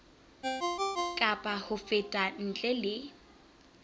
kapa ho feta ntle le